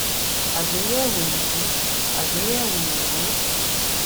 àgbéyẹwò ìbú àgbéyẹwò òòró